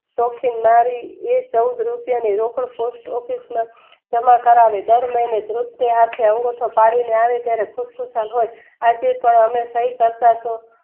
એ ચૌદ રૂપિયા પોસ્ટ ઓફિસમાં જમા કરાવે દર મહિને